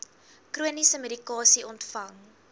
chroniese medikasie ontvang